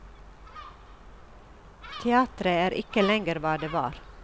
Teatret er ikke lenger hva det var.